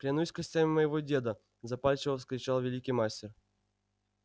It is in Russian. клянусь костями моего деда запальчиво вскричал великий мастер